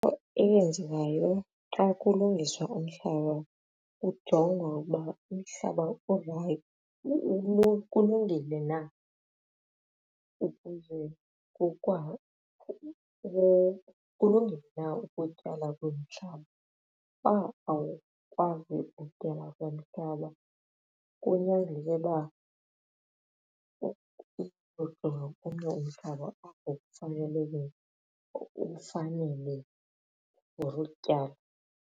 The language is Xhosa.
Eyenzekayo xa kulungiswa umhlaba kujongwa ukuba umhlaba kulungile na ukutyala kulo mhlaba bangaqale bavume ukutyala kunyanzeleke ukuba umhlaba ufanele for ukutyala.